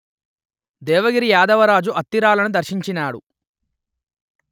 దేవగిరి యాదవరాజు అత్తిరాలను దర్శించినాడు